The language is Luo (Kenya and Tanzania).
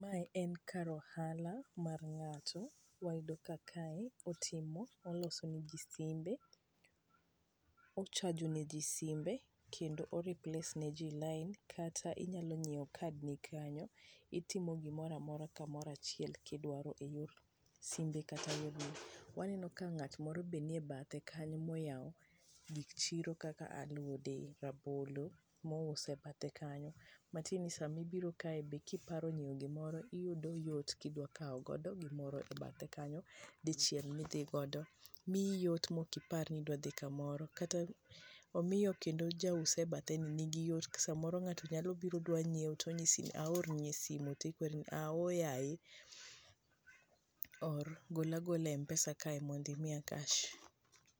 Mae en kar ohala mar ng'ato. Wayudo ka kae, otimo, olosone ji simbe. ochajone ji simbe kendo o replace ne ji line kata inyalo nyiewo card ni kanyo itimo gimora mora kamoro achiel kidwaro e yo simbe kata e yor. Waneno ka ng'at mor be nie e bathe kanyo moyawo gik chiro kaka alode, rabolo mouse e bathe kanyo. Matin ni saa mibiro kae be kipari nyiewo gimoro iyudo yot kidwa kawo godo gimoro e bathe kanyo dichiel midhi godo miiyi yot mokipar ni idwa dhi kamoro kata omiyo kendo jaus e bathe ni ni gi yot samoro nyalo biro dwa nyiewo to nyisi ni aorni e simu ti kwer ni aa oo yaye or, gola gola e Mpesa kae mondo imiya cash